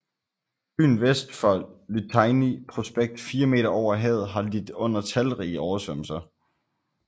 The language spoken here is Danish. Byen vest for Liteyny Prospekt 4 m over havet har lidt under talrige oversvømmelser